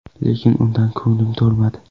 Lekin undan ko‘nglim to‘lmadi.